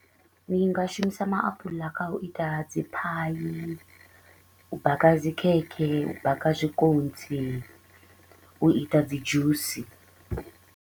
Ndi nga shumisa maapula kha u ita dzi pie u baka dzi khekhe, u baka zwikontsi, u ita dzi dzhusi.